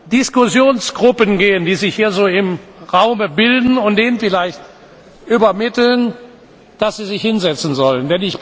Diskussionsgruppen gehen, die sich hier so im Raum bilden, und denen vielleicht übermitteln, dass sie sich hinsetzen sollen.